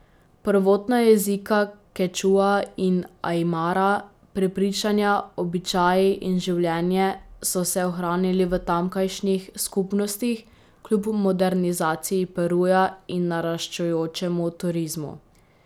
Prvotna jezika kečua in ajmara, prepričanja, običaji in življenje so se ohranili v tamkajšnjih skupnostih kljub modernizaciji Peruja in naraščajočemu turizmu.